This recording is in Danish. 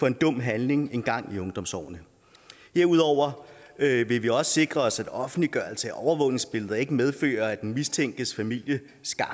en dum handling engang i ungdomsårene herudover vil vi vi også sikre os at offentliggørelse af overvågningsbilleder ikke medfører at den mistænkes familie